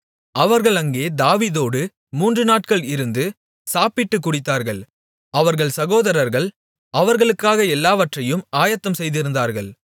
அவர்கள் அங்கே தாவீதோடு மூன்று நாட்கள் இருந்து சாப்பிட்டுக் குடித்தார்கள் அவர்கள் சகோதரர்கள் அவர்களுக்காக எல்லாவற்றையும் ஆயத்தம்செய்திருந்தார்கள்